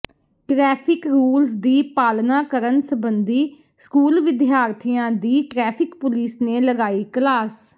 traffic rules ਦੀ ਪਾਲਣਾ ਕਰਨ ਸਬੰਧੀ ਸਕੂਲ ਵਿਦਿਆਰਥੀਆਂ ਦੀ ਟਰੈਫ਼ਿਕ ਪੁਲਿਸ ਨੇ ਲਗਾਈ ਕਲਾਸ